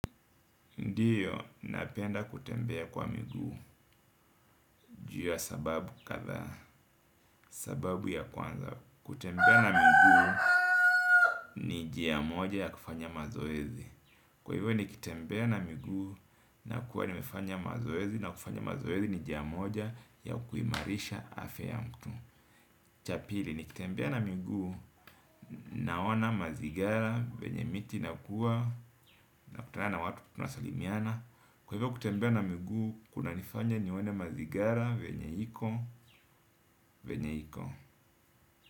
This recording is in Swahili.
Ndiyo, napenda kutembea kwa miguu. Juu ya sababu kadha, sababu ya kwanza, kutembea na miguu ni njia mmoja ya kufanya mazoezi. Kwa hivyo nikitembea na miguu na kuwa nimefanya mazoezi na kufanya mazoezi ni njia mmoja ya kuimarisha afya ya mtu. Chapili, nikitembea na miguu naona mazigira venye miti inakuwa na kutana na watu kutunasalimiana, kwa hivyo kutembea na miguu kunanifanya nione mazigira venye iko venye iko.